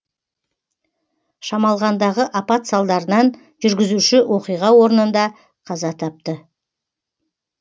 шамалғандағы апат салдарынан жүргізуші оқиға орнында қаза тапты